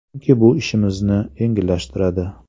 Chunki bu ishimizni yengillashtiradi.